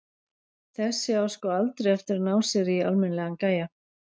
Þessi á sko aldrei eftir að ná sér í almennilegan gæja.